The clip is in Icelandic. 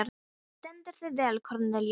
Þú stendur þig vel, Kornelíus!